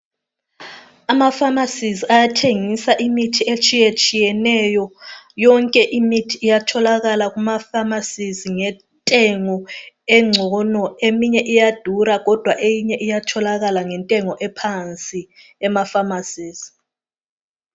Amafamasizi ayathengisa imithi etshiyetshiyeneyo. Yonke imithi iyatholakala kumafamasizi ngentengo ngcono. Eminye iyadura kodwa eyinye iyatholakala ngentengo ephansi amafamasizi.